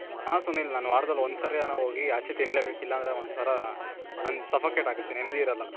ಹಾ ಸುನಿಲ್, ನಾನು ವಾರದಲ್ಲಿ ಒಂದು ಸರಿ ಅನ ಹೋಗಿ ಆಚೆ ತಿನ್ಲೆಬೇಕು. ಇಲ್ಲ ಅಂದ್ರೆ ಒಂತರಾ sufocate ಆಗುತ್ತೆ. ನೆಮ್ದಿ ಇರಲ್ಲ.